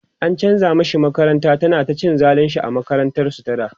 an chanza mashi makaranta, ana ta cin zalinshi a makarantar su ta da